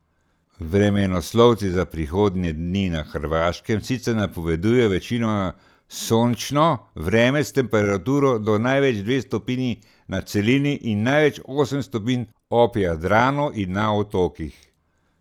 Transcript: Vremenoslovci za prihodnje dni na Hrvaškem sicer napovedujejo večinoma sončno vreme s temperaturo do največ dve stopinji na celini in največ osem stopinj ob Jadranu in na otokih.